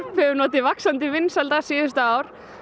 hefur notið vaxandi vinsælda síðustu ár